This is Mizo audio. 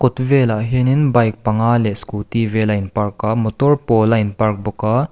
velah hian bike panga leh scooty vel a in park a motor pawl a in park bawk a.